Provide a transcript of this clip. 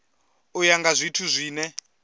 u ya nga zwithu zwine